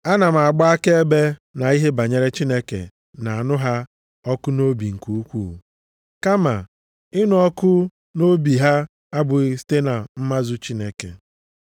Ana m agba akaebe na ihe banyere Chineke na-anụ ha ọkụ nʼobi nke ukwuu. Kama ịnụ ọkụ nʼobi ha abụghị site na mmazu Chineke.